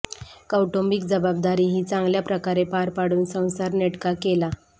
कौटुंबिक जबाबदारीही चांगल्या प्रकारे पार पाडून संसार नेटका केला